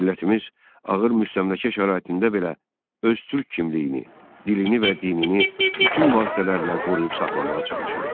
Millətimiz ağır müstəmləkə şəraitində belə öz türk kimliyini, dilini və dinini bütün vasitələrlə qoruyub saxlamağa çalışırdı.